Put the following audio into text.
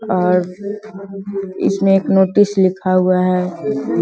और इसमें एक नोटिस लिखा हुआ है ।